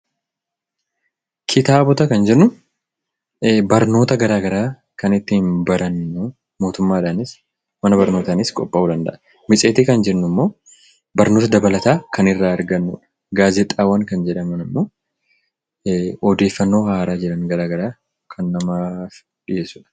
Kitaabota kan jennu barnoota gara garaa kan ittiin barannu mootummaadhaanis, mana barnootaanis qophaa'uu danda'a. Matseetii kan jennu immoo barnoota dabalataa kan irraa argannudha. Gaazexaawwan kan jedhaman immoo odeeffannoo haaraa jiran garaa garaa kan namaaf dhiyeessudha.